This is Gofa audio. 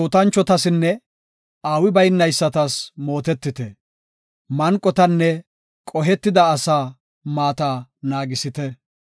Metootanchotasinne aawi baynaysatas mootetite; manqotanne qohetida asaa maata naagisite.